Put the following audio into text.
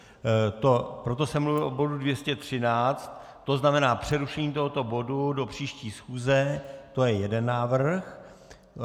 Proto jsem mluvil o bodu 213, to znamená přerušení tohoto bodu do příští schůze, to je jeden návrh.